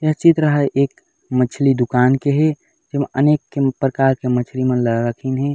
यह चित्र है एक मछली दुकान के हे अनेक कें प्रकार के मछली मन ल रखेन हे।